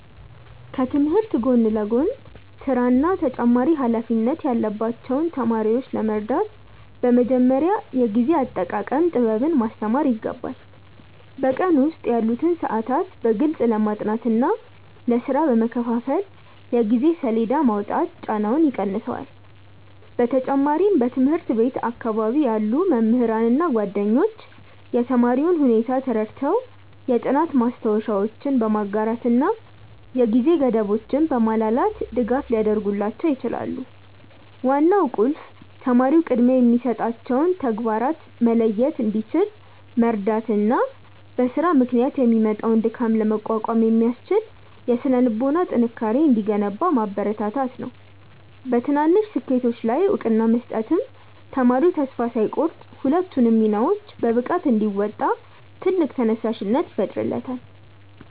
ከትምህርት ጎን ለጎን ሥራና ተጨማሪ ኃላፊነት ያለባቸውን ተማሪዎች ለመርዳት በመጀመሪያ የጊዜ አጠቃቀም ጥበብን ማስተማር ይገባል። በቀን ውስጥ ያሉትን ሰዓታት በግልጽ ለጥናትና ለሥራ በመከፋፈል የጊዜ ሰሌዳ ማውጣት ጫናውን ይቀንሰዋል። በተጨማሪም በትምህርት ቤት አካባቢ ያሉ መምህራንና ጓደኞች የተማሪውን ሁኔታ ተረድተው የጥናት ማስታወሻዎችን በማጋራትና የጊዜ ገደቦችን በማላላት ድጋፍ ሊያደርጉላቸው ይችላሉ። ዋናው ቁልፍ ተማሪው ቅድሚያ የሚሰጣቸውን ተግባራት መለየት እንዲችል መርዳትና በሥራ ምክንያት የሚመጣውን ድካም ለመቋቋም የሚያስችል የሥነ-ልቦና ጥንካሬ እንዲገነባ ማበረታታት ነው። በትናንሽ ስኬቶች ላይ እውቅና መስጠትም ተማሪው ተስፋ ሳይቆርጥ ሁለቱንም ሚናዎች በብቃት እንዲወጣ ትልቅ ተነሳሽነት ይፈጥርለታል።